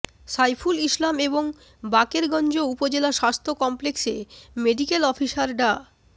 সাইফুল ইসলাম এবং বাকেরগঞ্জ উপজেলা স্বাস্থ্য কমপ্লেক্সে মেডিকেল অফিসার ডা